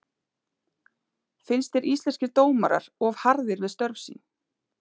Finnst þér Íslenskir dómarar of harðir við störf sín?